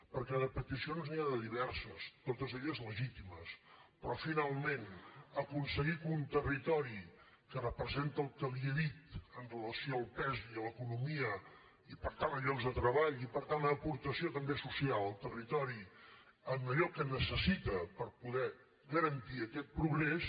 perquè de peticions n’hi ha de diverses totes elles legítimes però finalment aconseguir que un territori que representa el que li he dit amb relació al pes i a l’economia i per tant a llocs de treball i per tant a l’aportació també social al territori en allò que necessita per poder garantir aquest progrés